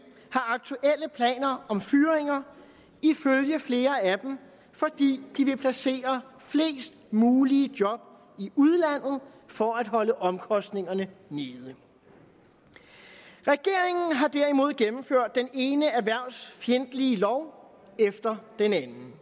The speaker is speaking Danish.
har aktuelle planer om fyringer ifølge flere af dem fordi de vil placere flest mulige job i udlandet for at holde omkostningerne nede regeringen har derimod gennemført den ene erhvervsfjendtlige lov efter den anden